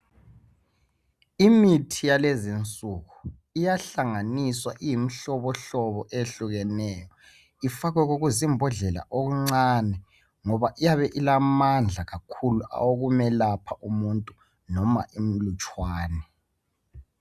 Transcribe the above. Imithi yalezi nsuku iyahlanganiswa iyimihlobohlobo eyehlukeneyo ifakwe kokuzimbodlela okuncane ngoba iyabe ilamandla kakhulu awokumelapha umuntu noma imilutshwane.